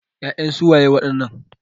Ya'yan su waye wadannan?